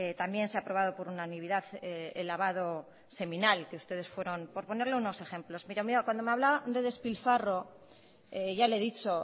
también se ha aprobado por unanimidad el lavado seminal que ustedes fueron por ponerle unos ejemplos cuando me hablaba de despilfarro ya le he dicho